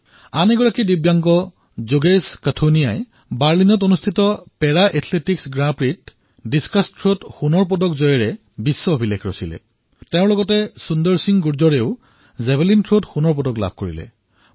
আৰু এজন দিব্যাংগ যোগেশ কঠুনিয়াই বাৰ্লিনৰ পেৰা এথলেটিকছ গ্ৰেণ্ড প্ৰিক্সত ডিচকাছ থ্ৰত সোণৰ পদক জয় কৰি বিশ্ব ৰেকৰ্ড স্থাপন কৰিলে তেওঁৰ সৈতে সুন্দৰ সিংহ গুৰ্জৰেও জেভলিনত সোণৰ পদক জয় কৰিলে